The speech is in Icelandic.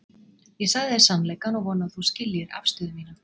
Ég sagði þér sannleikann og vona að þú skiljir aðstöðu mína.